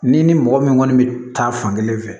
N'i ni mɔgɔ min kɔni bɛ taa fan kelen fɛ